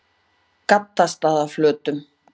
Gaddstaðaflötum